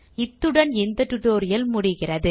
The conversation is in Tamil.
இத்துடன் இந்த டியூட்டோரியல் முடிகிறது